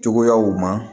Cogoyaw ma